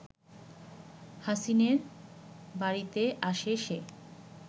হাসিনের বাড়িতে আসে সে